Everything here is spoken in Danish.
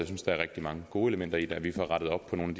synes der er rigtig mange gode elementer i det så vi får rettet op på nogle